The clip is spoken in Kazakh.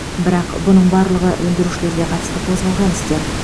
бірақ бұның барлығы өндірушілерге қатысты қозғалған істер